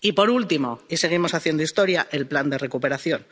nuevo. Y, por último —y seguimos haciendo historia—, el plan de recuperación.